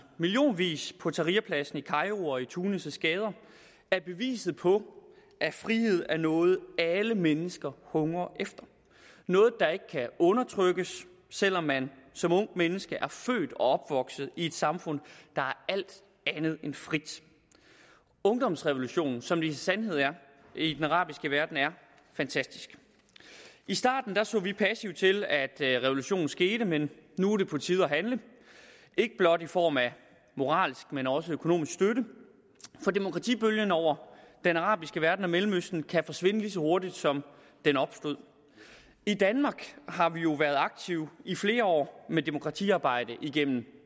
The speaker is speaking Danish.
millionvis på tahrirpladsen i kairo og i tunis’ gader er beviset på at frihed er noget alle mennesker hungrer efter noget der ikke kan undertrykkes selv om man som ungt menneske er født og opvokset i et samfund der er alt andet end frit ungdomsrevolutionen som det i sandhed er i den arabiske verden er fantastisk i starten så vi passivt til at revolutionen skete men nu er det på tide at handle ikke blot i form af moralsk men også økonomisk støtte for demokratibølgen over den arabiske verden og mellemøsten kan forsvinde lige så hurtigt som den opstod i danmark har vi jo været aktive i flere år med demokratiarbejde igennem